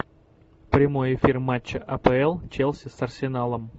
прямой эфир матча апл челси с арсеналом